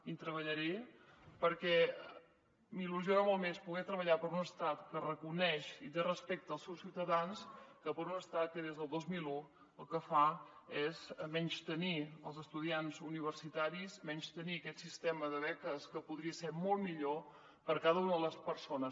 i treballaré perquè m’il·lusiona molt més poder treballar per un estat que reconeix i té respecte pels seus ciutadans que per un estat que des del dos mil un el que fa és menystenir els estudiants universita·ris i menystenir aquest sistema de beques que podria ser molt millor per a cada una de les persones